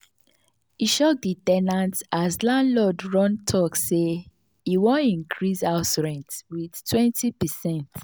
e shock the ten ant as landlord run talk sey e want increase house rent with 20%